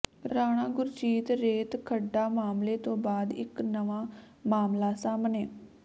ਰਾਣਾ ਗੁਰਜੀਤ ਰੇਤ ਖੱਡਾਂ ਮਾਮਲੇ ਤੋਂ ਬਾਅਦ ਇਕ ਨਵਾਂ ਮਾਮਲਾ ਸਾਹਮਣੇ